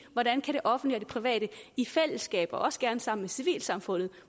hvordan det offentlige private i fællesskab og også gerne sammen med civilsamfundet